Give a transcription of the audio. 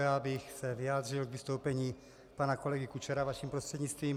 Já bych se vyjádřil k vystoupení pana kolegy Kučery vaším prostřednictvím.